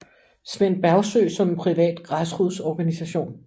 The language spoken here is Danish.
Svend Bergsøe som en privat græsrodsorganisation